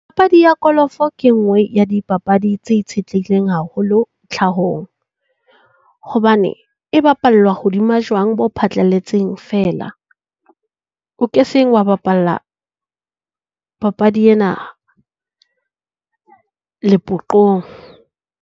Ya kolofo ke e nngwe ya dipapadi tse itshetlehileng haholo tlhahong, hobane e bapallwa hodima jwang bo phatlalletseng feela. O ke seng wa bapalla papadi ena lepoqong.